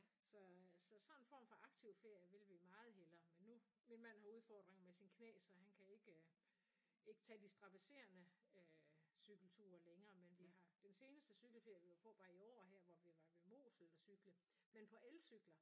Så så sådan en form for aktiv ferie vil vi meget hellere men nu min mand har udfordringer med sine knæ så han kan ikke ikke tage de strabaserende øh cykelture længere men vi har den seneste cykelferie vi var på var i år her hvor vi var ved Mosel og cykle